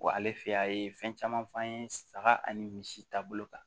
ale fɛ yen a ye fɛn caman f'an ye saga ani misi taabolo kan